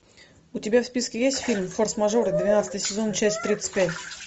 у тебя в списке есть фильм форс мажоры двенадцатый сезон часть тридцать пять